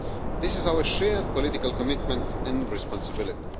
This is our shared political commitment and responsibility.